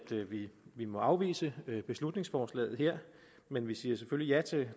vi må afvise beslutningsforslaget her men vi siger selvfølgelig ja til